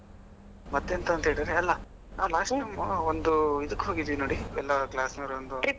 ಮತ್ತೆಂತ ಅಂತೇಳಿದ್ರೆ ಅಲ್ಲಾ last time ಒಂದು ಇದಕ್ಕೆ ಹೋಗಿದ್ವಿ ನೋಡಿ ಎಲ್ಲ class ನವರು ಒಂದು.